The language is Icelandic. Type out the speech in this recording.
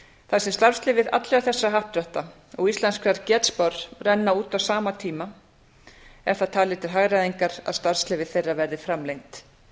þar sem starfsleyfi allra þessara happdrætta og íslenskrar getspár renna út á sama tíma er það talið til hagræðingar að starfsleyfi þeirra verði framlengd